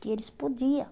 Que eles podia.